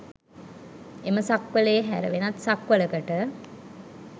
එම සක්වළේ හැර වෙනත් සක්වළකට